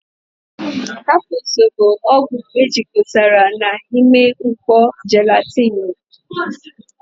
kapusu bụ ọgwụ ejikọtara na ime mkpó jelatini.